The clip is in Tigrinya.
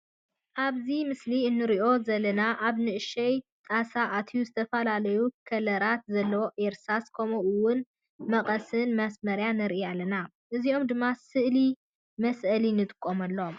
ኣብዚ ምስሊ እንሪኦ ዘለና ኣብ ንእሽተይ ጣሳ አትዩ ዝተፈላለዩ ከለራት ዘለዎ እርሳስን ከምኡ እውን መቀስን ማሰመርያን ንርኢ ኣለና። እዚኦም ድማ ስእሊ መስአሊ ንጥቀመሎም።